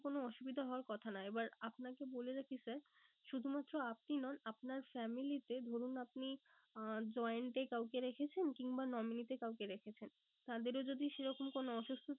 কোনো অসুবিধা হওয়ার কথা নয় এবার আপনাকে বলে রাখি sir শুধুমাত্র আপনি নন আপনার family তে ধরুন আপনি আহ joined এ কাউকে রেখেছেন কিংবা nominee তে কাউকে রেখেছেন। তাদেরও যদি সে রকম কোনো অসুস্থতা